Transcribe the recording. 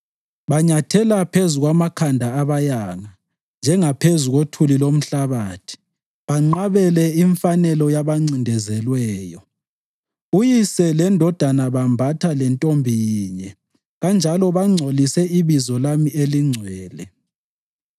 Banyathela phezu kwamakhanda abayanga njengaphezu kothuli lomhlabathi banqabele imfanelo yabancindezelweyo. Uyise lendodana bembatha lentombi yinye kanjalo bangcolise ibizo lami elingcwele.